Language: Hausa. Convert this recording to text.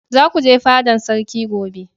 za ku je fadan sarki gobe!